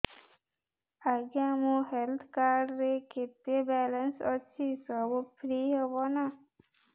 ଆଜ୍ଞା ମୋ health card ରେ କେତେ ବାଲାନ୍ସ ଅଛି ସବୁ ଫ୍ରି ହବ ନାଁ